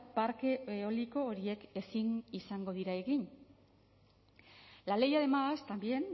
parke eoliko horiek ezin izango dira egin la ley además también